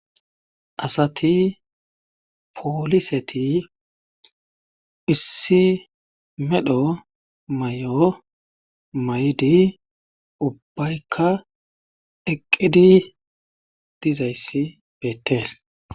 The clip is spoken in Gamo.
Asati pooliseti issi medho may'o may'di ubbaykka eqqidi dizayssi beettees.